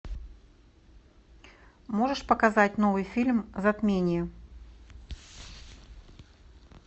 можешь показать новый фильм затмение